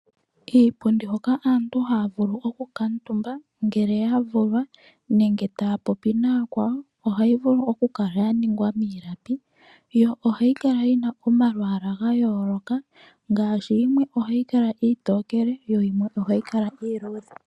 Kiipundi hoka aantu ohaya vulu oku kuutumba ngele yavulwa nenge taya popi nayakwawo ohayi vulu okukala yaningwa miilapi yo ohayi kala yina omalwaala gayooloka ngaashi yimwe ogayi kala iitokele yo yimwe ohayi kala iiludhe.